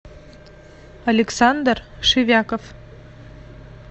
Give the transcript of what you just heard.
александр шевяков